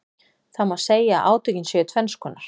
Það má segja að átökin séu tvenns konar.